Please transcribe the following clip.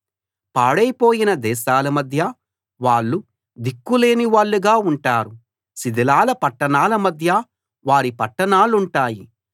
పాడైపోయిన దేశాల మధ్య వాళ్ళు దిక్కులేని వాళ్ళుగా ఉంటారు శిథిలాల పట్టణాల మధ్య వారి పట్టణాలుంటాయి